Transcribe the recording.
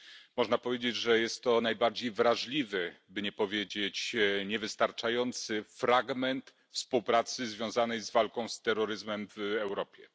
Można powiedzieć, że jest to najbardziej wrażliwy, by nie powiedzieć niewystarczający, fragment współpracy związanej z walką z terroryzmem w Europie.